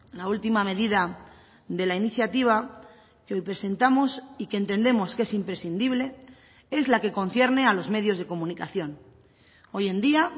la última medida de la iniciativa que hoy presentamos y que entendemos que es imprescindible es la que concierne a los medios de comunicación hoy en día